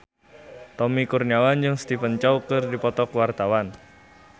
Tommy Kurniawan jeung Stephen Chow keur dipoto ku wartawan